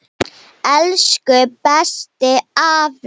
Elsku, besti afi.